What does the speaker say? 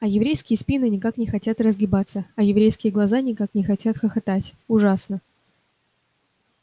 а еврейские спины никак не хотят разгибаться а еврейские глаза никак не хотят хохотать ужасно